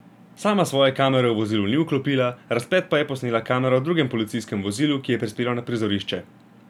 Sama svoje kamere v vozilu ni vklopila, razplet pa je posnela kamera v drugem policijskem vozilu, ki je prispelo na prizorišče.